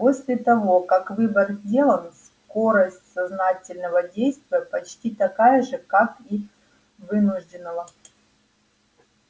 после того как выбор сделан скорость сознательного действия почти такая же как и вынужденного